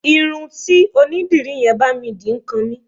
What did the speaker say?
Irun tí onídìrí yẹn bá mi dì ń kan mí.